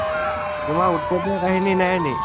তোমাৰ উৎপতিয়া কাহিনী নাই নি?